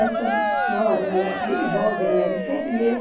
Essa senhora, ela é bem jovem, ela era enfermeira,